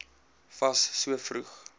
fas so vroeg